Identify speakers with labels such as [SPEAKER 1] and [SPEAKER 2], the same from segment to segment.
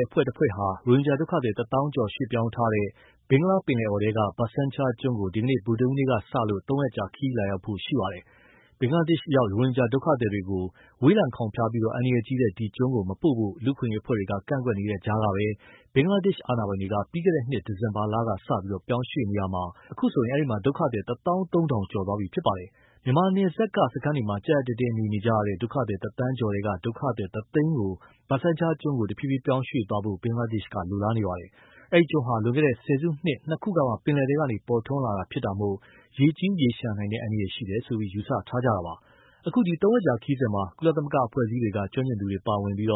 [SPEAKER 1] ယ်အဖွဲ့တဖွဲ့ဟာ ရိုဟင်ဂျာဒုက္ခသည် ၁၀,၀၀၀ ကျော် ရွှေ့ပြောင်းထားတဲ့ ဘင်္ဂလားပင်လယ်အော်ထဲက ဘာဆန်းချားကျွန်းကို ဒီကနေ့ ဗုဒ္ဓဟူးနေ့ကစလို့ သုံးရက်ကြာ ခရီးလာရောက်ဖို့ရှိနေပါတယ်။ ဘင်္ဂလာဒေ့ရှ်ရောက် ရိုဟင်ဂျာဒုက္ခသည်တွေကို ဝေးလံခေါင်ဖျားပြီး အန္တရာယ်ကြီးတဲ့ ဒီကျွန်းကို မပို့ဖို့ လူ့အခွင့်အရေးအဖွဲ့တွေက ကန့်ကွက်နေတဲ့ကြားကပဲ ဘင်္ဂလားဒေ့ရှ်အာဏာပိုင်တွေက ပြီးခဲ့တဲ့နှစ်ဒီဇင်ဘာလကစလို့ ပြောင်းရွှေ့နေရာမှာ အခုလို အဲဒီမှာ ဒုက္ခသည် ၁၃,၀၀၀ ကျော်သွားပြီဖြစ်ပါတယ်။ မြန်မာနယ်စပ်က စခန်းတွေမှာ ကြပ်ကြပ်တည်းတည်းနေနေကြတဲ့ ဒုက္ခသည် ၁,၀၀၀,၀၀၀ ကျော်ထဲက ဒုက္ခသည် ၁၀၀,၀၀၀ ကို ဘားဆန်းချားကျွန်းကို တဖြေးဖြေးပြောင်းရွှေ့သွားဖို့ ဘင်္ဂလားဒေ့ရှ်က လိုလားနေပါတယ်။ အဲဒီကျွန်းဟာ လွန်ခဲ့တဲ့ ဆယ်စုနှစ်နှစ်ခုကမှ ပင်လယ်ထဲကနေ ပေါ်ထွန်းလာတာဖြစ်တာမို့ ရေကြီးရေလျှံနိုင်တဲ့ အန္တရာယ်ရှိတယ်လို့ ယူဆထားကြတာပါ။ အခု သုံးရက်ကြာခရီးစဉ်မှာ ကုလသမဂ္ဂအဖွဲ့အစည်းတွေက ကျွမ်းကျင်သူတွေ ပါဝင်ပြီး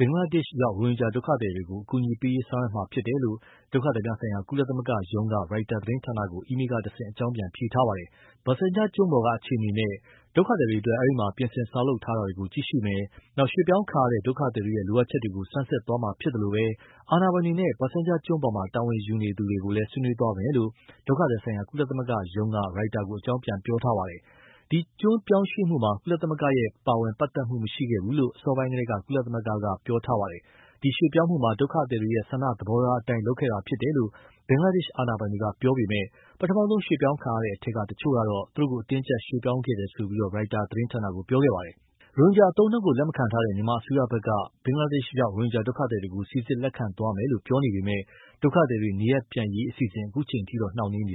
[SPEAKER 1] ဘင်္ဂလားဒေ့ရှ်ရောက် ရိုဟင်ဂျာဒုက္ခသည်တွေကို အကူအညီပေးရေးဆောင်ရွက်သွားမှာဖြစ်တယ်လို့ ဒုက္ခသည်များဆိုင်ရာ ကုလသမဂ္ဂရုံးက ရိုက်တာသတင်းဌာနကို အီးမေးလ်ကတဆင့် အကြောင်းပြန်ဖြေထားပါတယ်။ ဘာဆန်ချားကျွန်းပေါ်က အခြေအနေနဲ့ ဒုက္ခသည်တွေအတွက် အဲဒီက ပြင်ဆင်ဆောက်လုပ်ထားတာတွေကို ကြည့်ရှုပါမယ်။ ရွှေ့ပြောင်းခံရတဲ့ ဒုက္ခသည်တွေရဲ့ လိုအပ်ချက်တွေကို ဆန်းစစ်သွားမှာဖြစ်သလို အာဏာပိုင်တွေနဲ့ ဘာဆန်ချားကျွန်းပေါ် တာဝန်ယူနေသူတွေနဲ့လည်း ဆွေးနွေးသွားပါမယ်လို့ ဒုက္ခသည်ဆိုင်ရာ ကုလသမဂ္ဂရုံးက အကြောင်းပြန်ထားပါတယ်။ ဒီကျွန်းပြောင်းရွှေ့မှုမှာ ကုလသမဂ္ဂရဲ့ ပါဝင်ပတ်သက်မှုမရှိခဲ့ဘူးလို့ အစောပိုင်းကတည်းက ကုလသမဂ္ဂက ပြောထားပါတယ်။ ဒီရွှေ့ပြောင်းမှုမှာ ဒုက္ခသည်တွေရဲ့ ဆန္ဒသဘောထားအတိုင်း လုပ်ခဲ့တာဖြစ်တယ်လို့ ဘင်္ဂလားဒေ့ရှ်အာဏာပိုင်တွေကပြောပေမဲ့ ပထမဆုံးရွှေ့ပြောင်းခံရတဲ့အထဲက တချို့ကတော့ သူတို့ကို အတင်းအကြပ်ရွှေ့ပြောင်းခဲ့တာလို့ ပြောနေပါတယ်။ ရိုဟင်ဂျာအသုံးအနှုန်းကို လက်မခံထားတဲ့ မြန်မာအစိုးရဘက်က ဘင်္ဂလားဒေ့ရှ်ရောက် ရိုဟင်ဂျာဒုက္ခသည်တွေကို စိစစ်လက်ခံသွားမယ်လို့ ပြောနေပေမဲ့ ဒုက္ခသည်တွေ နေရပ်ပြန်ရေးအစီအစဉ် ခုအချိန်အထိ နှောင့်နှေးနေ